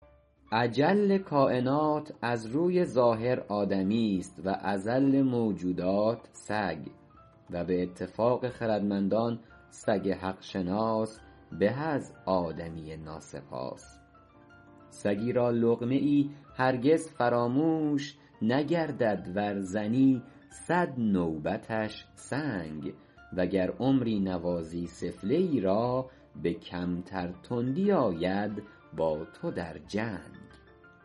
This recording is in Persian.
اجل کاینات از روی ظاهر آدمیست و اذل موجودات سگ و به اتفاق خردمندان سگ حق شناس به از آدمی ناسپاس سگی را لقمه ای هرگز فراموش نگردد ور زنی صد نوبتش سنگ و گر عمری نوازی سفله ای را به کمتر تندی آید با تو در جنگ